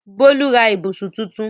Bólú ra ibùsùn tuntun?